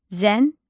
Zənbil.